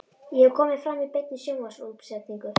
Ég hef komið fram í beinni sjónvarpsútsendingu.